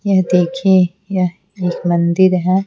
यह देखिए यह एक मंदिर है।